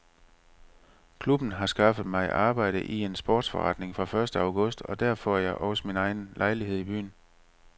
Klubben har skaffet mig arbejde i en sportsforretning fra første august og der får jeg også min egen lejlighed i byen.